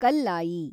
Kallayi